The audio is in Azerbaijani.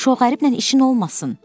Şoğəriblə işin olmasın.